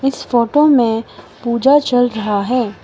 इस फोटो में पूजा चल रहा है।